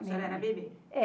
A senhora era bebê?